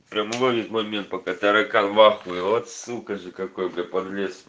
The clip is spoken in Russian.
прямоугольник момент пока таракан в ахуе вот сука же какой пролез